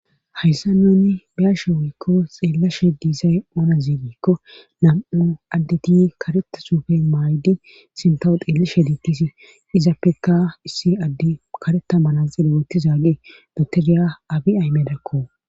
hayssa nuni biyashe woykko xeellashe diisay oona ziigikko nam7o addeti kareta sufe maaydi sintawo xeelishe diikkisi izappeka issi addi kareta mana xille wooti zaage doteriya abi aymedakko